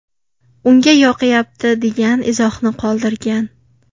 Unga yoqayapti” degan izohni qoldirgan.